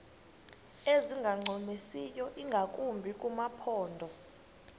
ezingancumisiyo ingakumbi kumaphondo